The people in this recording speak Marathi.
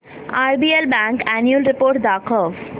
आरबीएल बँक अॅन्युअल रिपोर्ट दाखव